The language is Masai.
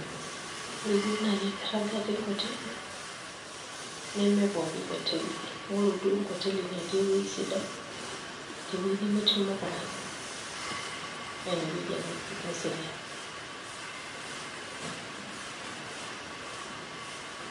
Ore duo naai enkirragata enkoteli nemepooki hoteli ore duo enkoteli natii ewueji sidai tewueji nemetii irmokorani naa ineweuji ake naserian.